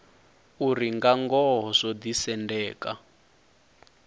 uri nga ngoho zwo ḓisendeka